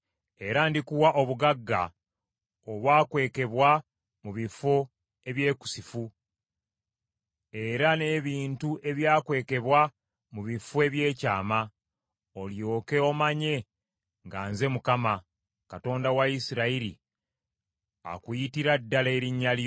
Era ndikuwa obugagga obwakwekebwa mu bifo ebyekusifu era n’ebintu ebyakwekebwa mu bifo ebyekyama olyoke omanye nga nze Mukama , Katonda wa Isirayiri akuyitira ddala erinnya lyo.